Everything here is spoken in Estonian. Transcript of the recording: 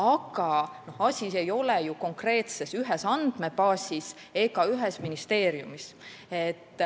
Aga asi ei ole ju konkreetselt ühes andmebaasis ega ühes ministeeriumis.